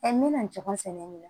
n bɛna ɲɔgɔn sɛnɛ yen